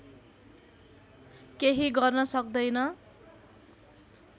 केही गर्न सक्दैन